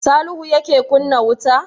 Salihu yake kunna wuta?